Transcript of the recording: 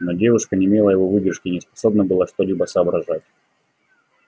но девушка не имела его выдержки и не способна была что-либо соображать